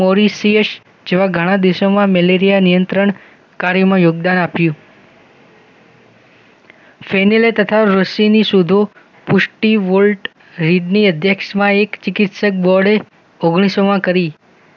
Mauritius જેવા ઘણા દેશોમાં મેલેરિયા નિયંત્રણ કાર્યમાં યોગદાન આપ્યુ સેનેલય તથા રોસીની શોધો પૃષ્ટી વર્લ્ડ રેદની અધ્યક્ષમાં એક ચિકિત્સક બોર્ડે કરી